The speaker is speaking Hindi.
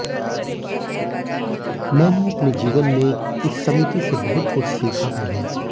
मैंने अपने जीवन में इस समिति से बहुत कुछ सीखा भी है